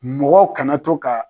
Mɔgɔw kana to ka